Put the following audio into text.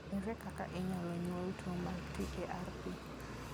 Ere kaka inyalo nyuol tuwo mar TARP?